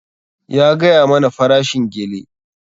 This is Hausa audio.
Ya gaya mana farashin gele.